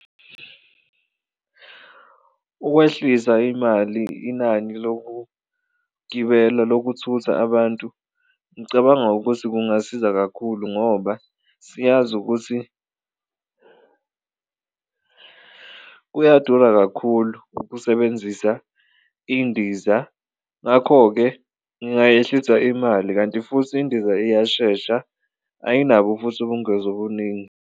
Ukwehlisa imali inani lokugibela lokuthutha abantu ngicabanga ukuthi kungasiza kakhulu ngoba siyazi ukuthi kuyadura kakhulu ukusebenzisa indiza ngakho-ke ngingayehlisa imali, kanti futhi indiza iyashesha ayinabo futhi ubungozi obuningi.